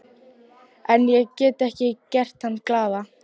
En ég get ekki gert hana glaða.